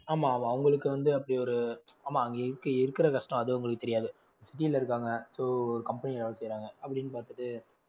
ஆமாம். அவங்களுக்கு வந்து அப்படி ஒரு, ஆமாம் அங்க இருக்க~ இருக்கற கஷ்டம் அது வந்து அவங்களுக்கு தெரியாது city ல இருக்காங்க socompany ல வேல செய்றாங்க அப்படின்னு பாத்துட்டு